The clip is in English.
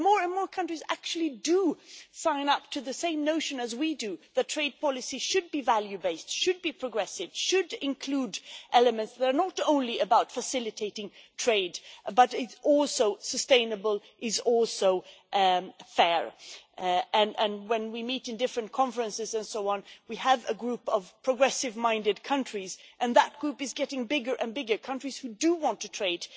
But more and more countries actually do sign up to the same notion as we do, that trade policy should be value based, should be progressive, should include elements that are not only about facilitating trade, but that are also sustainable and fair. When we meet in different conferences and so on, we have a group of progressive minded countries and that group is getting bigger who do want to trade